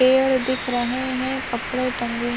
पेड़ दिख रहे है कपड़े टंगे--